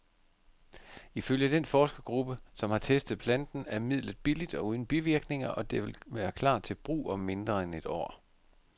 Ifølge den forskergruppe, som har testet planten, er midlet billigt og uden bivirkninger, og det vil klar til brug om mindre end et år.